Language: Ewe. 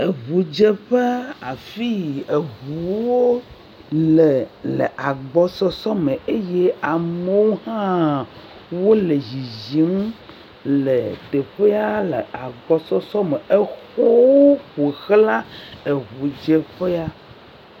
Eŋudzeƒe afi yi eŋuwo le le agbɔsɔsɔ me eye amewo hã wole dzidzim le tsƒea lea gbaɔsɔsɔ me. Exɔwo ƒo xla eŋudzeƒea.